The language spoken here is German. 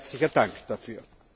Ein herzlicher Dank dafür.